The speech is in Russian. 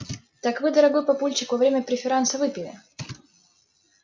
так вы дорогой папульчик во время преферанса выпили